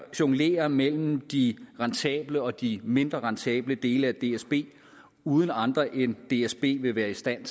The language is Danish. jonglere mellem de rentable og de mindre rentable dele af dsb uden at andre end dsb vil være i stand